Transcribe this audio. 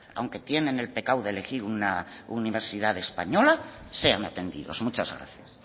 aunque tienen el pecado de elegir una universidad española sean atendidos muchas gracias